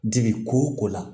Dibi ko o la